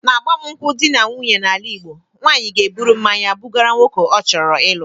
N'agbamụnkwụ dị na nwunye n'ala Igbo, nwanyị ga-eburu mmanya bugara nwoke ọ chọrọ ịlụ.